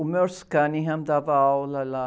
O Merce Cunningham dava aula lá.